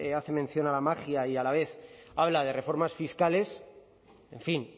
hace mención a la magia y la vez habla de reformas fiscales en fin